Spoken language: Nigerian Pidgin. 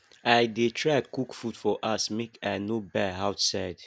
i dey try cook food for house make i no buy outside